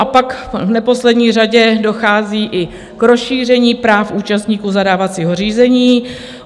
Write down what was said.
A pak v neposlední řadě dochází i k rozšíření práv účastníků zadávacího řízení.